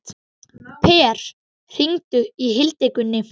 Per, hringdu í Hildigunni.